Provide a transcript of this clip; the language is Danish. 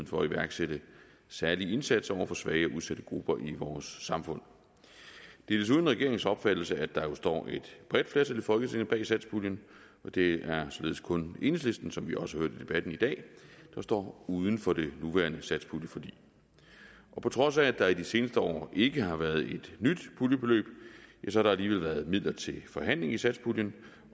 for at iværksætte særlige indsatser over for svage og udsatte grupper i vores samfund det er desuden regeringens opfattelse at der jo står et bredt flertal i folketinget bag satspuljen og det er således kun enhedslisten hvilket vi også hørte i debatten i dag der står uden for det nuværende satspuljeforlig og på trods af at der i de seneste år ikke har været et nyt puljebeløb har der alligevel været midler til forhandling i satspuljen